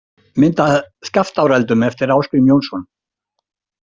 Mynd af Skaftáreldum eftir Ásgrím Jónsson.